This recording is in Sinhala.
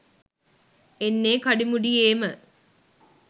එන්නේ කඩිමුඩියේමය.